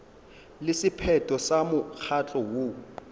le sephetho sa mokgatlo woo